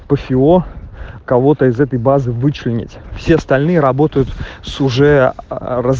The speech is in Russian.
по фио кого-то из этой базы вычленить все остальные работают с уже раз